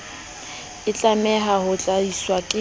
e tlameha ho tlatswa ke